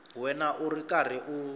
wena u ri karhi u